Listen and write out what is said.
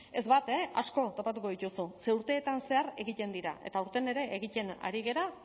ez bat asko topatuko dituzu ze urteetan zehar egiten dira eta aurten ere egiten ari gara